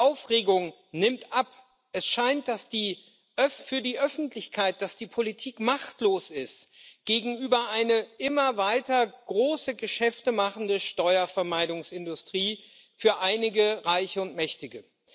Die Aufregung nimmt ab, es scheint für die Öffentlichkeit, dass die Politik machtlos ist gegenüber einer immer weiter große Geschäfte machenden Steuervermeidungsindustrie für einige Reiche und Mächtige.